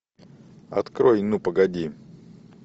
открой ну погоди